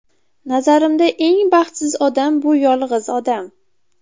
Nazarimda eng baxtsiz odam bu yolg‘iz odam.